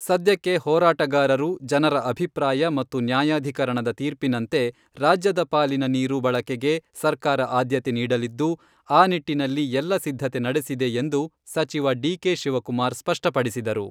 ಸದ್ಯಕ್ಕೆ ಹೋರಾಟಗಾರರು, ಜನರ ಅಭಿಪ್ರಾಯ ಮತ್ತು ನ್ಯಾಯಾಧೀಕರಣದ ತೀರ್ಪಿನಂತೆ ರಾಜ್ಯದ ಪಾಲಿನ ನೀರು ಬಳಕೆಗೆ ಸರ್ಕಾರ ಆದ್ಯತೆ ನೀಡಲಿದ್ದು, ಆ ನಿಟ್ಟಿನಲ್ಲಿ ಎಲ್ಲ ಸಿದ್ಧತೆ ನಡೆಸಿದೆ ಎಂದು ಸಚಿವ ಡಿ.ಕೆ.ಶಿವಕುಮಾರ್ ಸ್ಪಷ್ಟಪಡಿಸಿದರು.